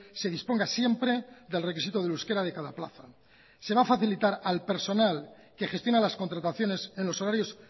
se disponga siempre del requisito del euskera de cada plaza se va a facilitar al personal que gestiona las contrataciones en los horarios